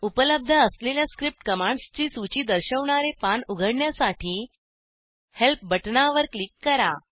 उपलब्ध असलेल्या script commands ची सूची दर्शवणारे पान उघडण्यासाठी हेल्प बटणावर क्लिक करा